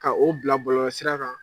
Ka o bila bɔlɔlɔsira kan